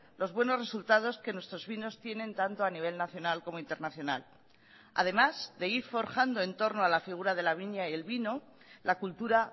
los buenos resultados que nuestros vinos tienen tanto a nivel nacional como internacional además de ir forjando en torno a la figura de la viña y el vino la cultura